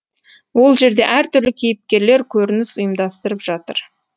ол жерде әртүрлі кейіпкерлер көрініс ұйымдастырып жатыр